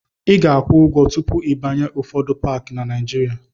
Ị ga-akwụ ụgwọ tupu ịbanye n'ụfọdụ paakị dị na Naịjịrịa.